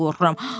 Mən qorxuram.